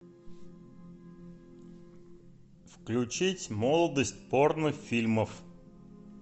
включить молодость порнофильмов